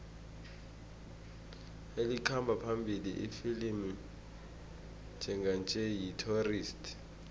elikhamba phambili ifilimu njenganje yi the tourist